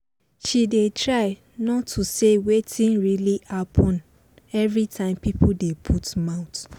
she dey try not to say wetin really happen every time pipo dey put mouth